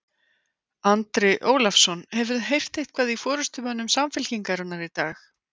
Andri Ólafsson: Hefurðu eitthvað heyrt í forystumönnum Samfylkingarinnar í dag?